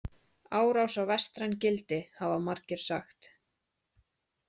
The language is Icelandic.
„Árás á vestræn gildi“ , hafa margir sagt.